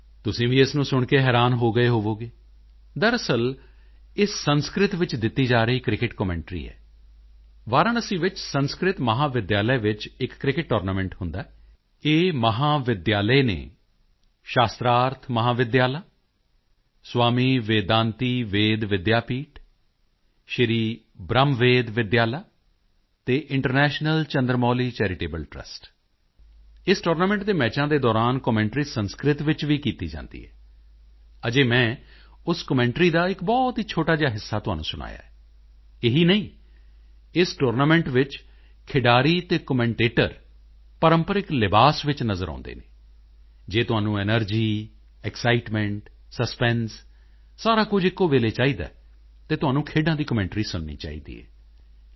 ਤੁਸੀਂ ਵੀ ਇਸ ਨੂੰ ਸੁਣ ਕੇ ਹੈਰਾਨ ਹੋ ਗਏ ਹੋਵੋਗੇ ਦਰਅਸਲ ਇਹ ਸੰਸਕ੍ਰਿਤ ਵਿੱਚ ਦਿੱਤੀ ਜਾ ਰਹੀ ਕ੍ਰਿਕਟ ਕਮੈਂਟਰੀ ਹੈ ਵਾਰਾਣਸੀ ਵਿੱਚ ਸੰਸਕ੍ਰਿਤ ਮਹਾਵਿਦਿਆਲਾ ਵਿੱਚ ਇੱਕ ਕ੍ਰਿਕਟ ਟੂਰਨਾਮੈਂਟ ਹੁੰਦਾ ਹੈ ਇਹ ਮਹਾਵਿਦਿਆਲਾ ਹਨ ਸ਼ਾਸਤ੍ਰਾਰਥ ਮਹਾਵਿਦਿਆਲਾ ਸਵਾਮੀ ਵੇਦਾਂਤੀ ਵੇਦ ਵਿੱਦਿਆ ਪੀਠ ਸ਼੍ਰੀ ਬ੍ਰਹਮਵੇਦ ਵਿਦਿਆਲਾ ਅਤੇ international Chandra Mauli charitable trust ਇਸ ਟੂਰਨਾਮੈਂਟ ਦੇ ਮੈਚਾਂ ਦੇ ਦੌਰਾਨ ਕਮੈਂਟਰੀ ਸੰਸਕ੍ਰਿਤ ਵਿੱਚ ਵੀ ਕੀਤੀ ਜਾਂਦੀ ਹੈ ਅਜੇ ਮੈਂ ਉਸ ਕਮੈਂਟਰੀ ਦਾ ਇੱਕ ਬਹੁਤ ਹੀ ਛੋਟਾ ਜਿਹਾ ਹਿੱਸਾ ਤੁਹਾਨੂੰ ਸੁਣਾਇਆ ਹੈ ਇਹੀ ਨਹੀਂ ਇਸ ਟੂਰਨਾਮੈਂਟ ਵਿੱਚ ਖਿਡਾਰੀ ਅਤੇ ਕਮੈਂਟੇਟਰ ਪ੍ਰੰਪਰਿਕ ਲਿਬਾਸ ਵਿੱਚ ਨਜ਼ਰ ਆਉਂਦੇ ਹਨ ਜੇ ਤੁਹਾਨੂੰ ਐਨਰਜੀ ਐਕਸਾਈਟਮੈਂਟ ਸਸਪੈਂਸ ਸਾਰਾ ਕੁਝ ਇੱਕੋ ਵੇਲੇ ਚਾਹੀਦਾ ਹੈ ਤਾਂ ਤੁਹਾਨੂੰ ਖੇਡਾਂ ਦੀ ਕਮੈਂਟਰੀ ਸੁਣਨੀ ਚਾਹੀਦੀ ਹੈ ਟੀ